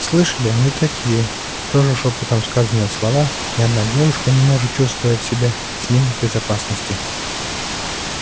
слышали они и такие тоже шёпотом сказанные слова ни одна девушка не может чувствовать себя с ним в безопасности